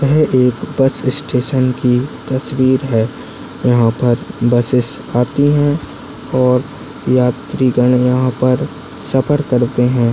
यह एक bus station की तस्वीर है यहा पर बसेस आति है और यात्रिगण यहा पर सफर करते है।